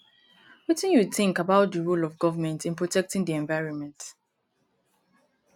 wetin you think about di role of govrnment in protecting di environment